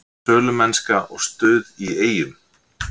Sölumennska og stuð í Eyjum